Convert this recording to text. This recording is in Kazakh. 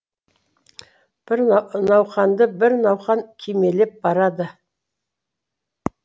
бір науқанды бір науқан кимелеп барады